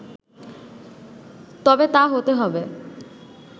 তবে তা হতে হবে